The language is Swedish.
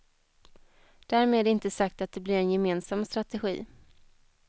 Därmed inte sagt att det blir en gemensam strategi.